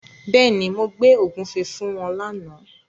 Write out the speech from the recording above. Bẹ́ẹ̀ni, mo gbé ògúnfe fún wọn lána.